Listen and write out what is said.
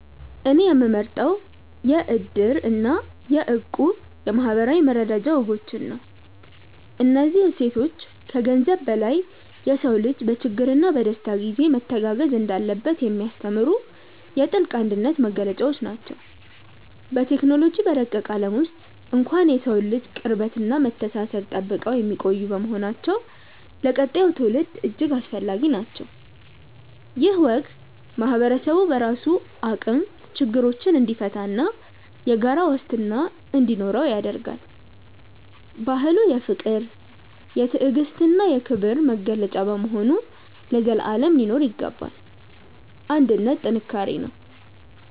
እኔ የምመርጠው የ"እድር" እና የ"እቁብ" የማኅበራዊ መረዳጃ ወጎችን ነው። እነዚህ እሴቶች ከገንዘብ በላይ የሰው ልጅ በችግርና በደስታ ጊዜ መተጋገዝ እንዳለበት የሚያስተምሩ የጥልቅ አንድነት መገለጫዎች ናቸው። በቴክኖሎጂ በረቀቀ ዓለም ውስጥ እንኳን የሰውን ልጅ ቅርበትና መተሳሰብ ጠብቀው የሚቆዩ በመሆናቸው ለቀጣዩ ትውልድ እጅግ አስፈላጊ ናቸው። ይህ ወግ ማኅበረሰቡ በራሱ አቅም ችግሮችን እንዲፈታና የጋራ ዋስትና እንዲኖረው ያደርጋል። ባህሉ የፍቅር፣ የትዕግስትና የክብር መገለጫ በመሆኑ ለዘላለም ሊኖር ይገባል። አንድነት ጥንካሬ ነው።